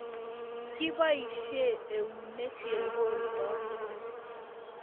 Kibaishe eunek ke koldoi